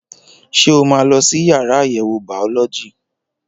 Ṣé o máa lọ sí yàrá àyẹ̀wò bàọ́lọ́jì?